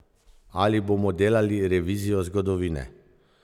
Ali bomo delali revizijo zgodovine?